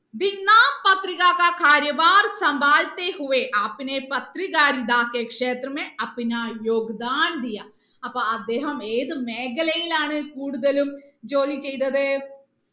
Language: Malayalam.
അപ്പൊ അദ്ദേഹം ഏത് മേഖലയിലാണ് കൂടുതലും ജോലി ചെയ്തത്